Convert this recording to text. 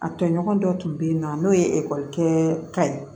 A tɔɲɔgɔn dɔ tun bɛ yen nɔ n'o ye ekɔlikɛ ye